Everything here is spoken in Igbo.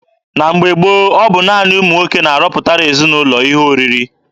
Na mgbe gboo, ọ bụ naanị ụmụ nwoke na-arọpụtara ezinaụlọ ihe oriri.